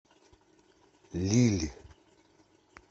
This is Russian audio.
лилль